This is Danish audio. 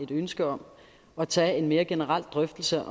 et ønske om at tage en mere generel drøftelse